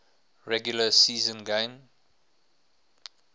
regular season game